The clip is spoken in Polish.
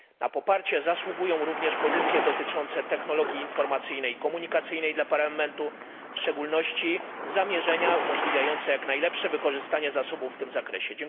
Na poparcie zasługują również pozycje dotyczące technologii informacyjnej i komunikacyjnej dla Parlamentu, w szczególności zamierzenia umożliwiające jak najlepsze wykorzystanie zasobów w tym zakresie.